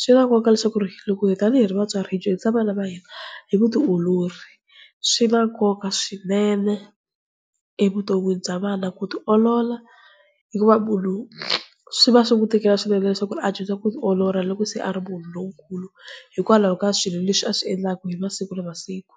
Swi na nkoka leswaku ri loko tani hi ri vatswari hi dyondzisa vana va hina hi vutiolori. Swi na nkoka swinene evuton'wini bya vana ku tiolola, hikuva munhu swi va swi n'wi tikela swinene leswaku a dyondza ku tiolola loko se a ri munhu lonkulu, hikwalaho ka swilo leswi a swi endlaka hi masiku na masiku.